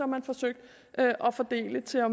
man forsøgt at fordele så